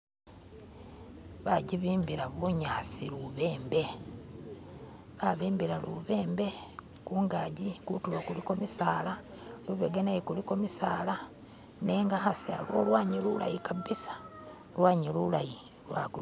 Bakyibimbila bunyaasi lubembe, babimbila lubembe kuganji, kutulo kuliko misaala, lubega naye kuliko misaala nenga hasi lwanyi lulayi kabisa lwanyi lulayi lwaguma.